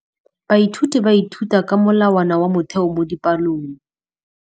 Baithuti ba ithuta ka molawana wa motheo mo dipalong.